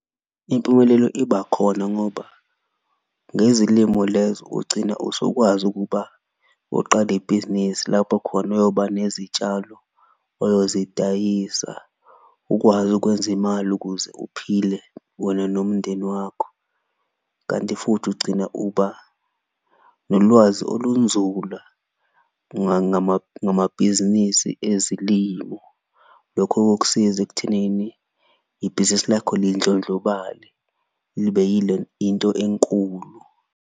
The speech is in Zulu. Impumelelo iba khona ngoba ngezilimo lezo ugcina usukwazi ukuba uqale ibhizinisi lapho khona uyoba nezitshalo oyozidayisa, ukwazi ukwenza imali ukuze uphile wena nomndeni wakho. Kanti futhi ugcina uba nolwazi olunzula ngamabhizinisi ezilimo, lokho kokusiza ekuthenini ibhizinisi lakho lindlondlobale libe into enkulu.